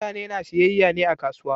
Mutane na siyayya ne a kasuwa.